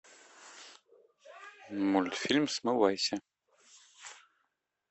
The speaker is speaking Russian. мультфильм смывайся